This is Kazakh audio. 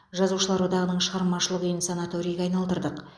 жазушылар одағының шығармашылық үйін санаторийге айналдырдық